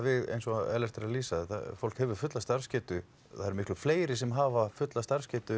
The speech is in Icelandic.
eins og Ellert er að lýsa fólk hefur fulla starfsgetu það eru miklu fleiri sem hafa fulla starfsgetu